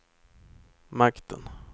makten